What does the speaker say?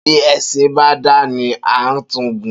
Bi esin ba da ni, a n tun gun.